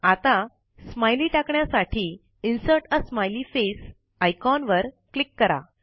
आता स्माइली टाकण्यासाठी insert a smiley face icon वर क्लिक करा